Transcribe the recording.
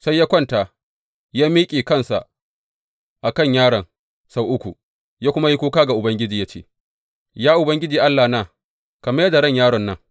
Sai ya kwanta, ya miƙe kansa a kan yaron sau uku, ya kuma yi kuka ga Ubangiji ya ce, Ya Ubangiji Allahna, ka mai da ran yaron nan!